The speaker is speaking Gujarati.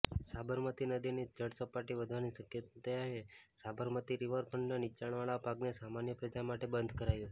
સાબરમતી નદીની જળસપાટી વધવાની શકયતાએ સાબરતમી રિવરફ્રન્ટના નીચાણવાળા ભાગને સામાન્ય પ્રજા માટે બંધ કરાયો